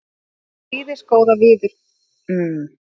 Þakka prýðisgóða viðkynningu.